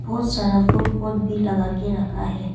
बहुत सारा फुल पॉट भी लगा के रखा है।